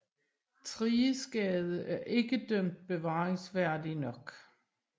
Thriges Gade ikke dømt bevaringsværdige nok